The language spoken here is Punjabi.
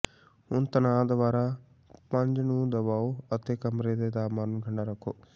ਹੁਣ ਤਣਾਅ ਦੁਆਰਾ ਪੁੰਜ ਨੂੰ ਦਬਾਓ ਅਤੇ ਕਮਰੇ ਦੇ ਤਾਪਮਾਨ ਨੂੰ ਠੰਡਾ ਰੱਖੋ